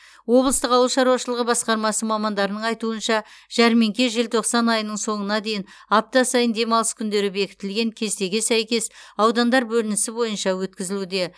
облыстық ауыл шаруашылығы басқармасы мамандарының айтуынша жәрмеңке желтоқсан айының соңына дейін апта сайын демалыс күндері бекітілген кестеге сәйкес аудандар бөлінісі бойынша өткізілуде